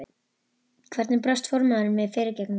Hvernig brást formaðurinn við fyrirgefningunni?